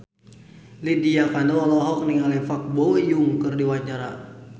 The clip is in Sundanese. Lydia Kandou olohok ningali Park Bo Yung keur diwawancara